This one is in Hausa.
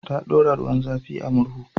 Ta ɗora ruwan zafi a murhu.